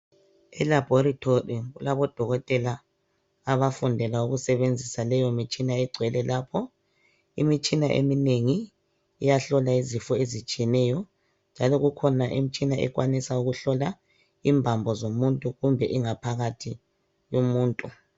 Elabhorethi kulabo dokotela abafundela ukusebenzisa leyo mitshina egcwele lapho. Imitshina eminengi iyahlola izifo ezitshiyeneyo njalo kukhona imitshina ekwanisa ukuhlola imbambo zomuntu kumbe ingaphakathi yomuntu.